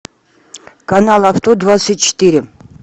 канал авто двадцать четыре